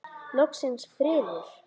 Loksins friður!